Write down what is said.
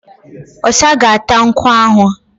Ọ̀sa ga-áta nkwú ahụ